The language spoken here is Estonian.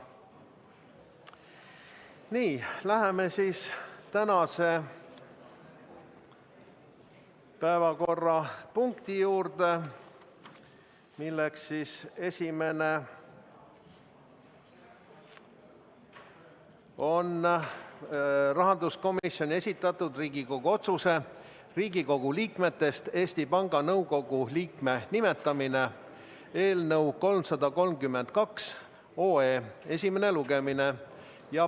Nii, läheme tänase esimese päevakorrapunkti juurde, milleks on rahanduskomisjoni esitatud Riigikogu otsuse "Riigikogu liikmetest Eesti Panga Nõukogu liikme nimetamine" eelnõu 332 esimene lugemine.